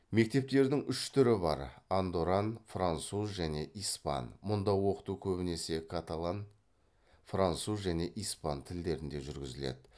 мектептердің үш түрі бар андоран француз және испан мұнда оқыту көбінесе каталан француз және испан тілдерінде жүргізіледі